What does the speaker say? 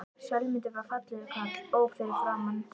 Sölmundur var fallegur karl, ó fyrir framan.